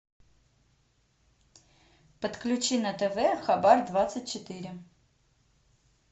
подключи на тв хабар двадцать четыре